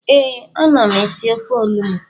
Ee, ama m esi ofe onugbu